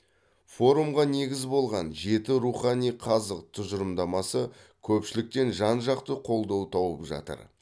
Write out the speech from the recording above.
форумға негіз болған жеті рухани қазық тұжырымдамасы көпшіліктен жан жақты қолдау тауып жатыр